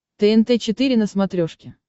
тнт четыре на смотрешке